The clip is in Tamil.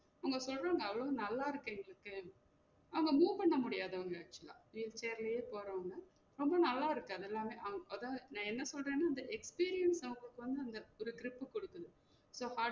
உங்க நல்~ நல்லா இருக்கு எங்களுக்கு அவங்க move பண்ண முடியாது அவங்க actual ஆ ரொம்ப நல்லா இருக்கு அதெல்லாமே அவங்~ அதா நா என்ன சொல்றன்னா இந்த experience ஒரு grip குடுக்கனும் so